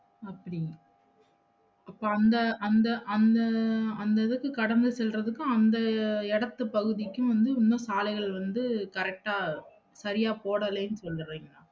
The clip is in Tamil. அப்படி அப்ப அந்த, அந்த, அந்த, அந்த இதுக்கு கடந்து செல்றதுக்கு அந்த இடத்து பகுதிக்கும் வந்து இன்னும் சாலைகள் வந்து correct அ சரியா போடலைன்னு சொல்லுறேன்.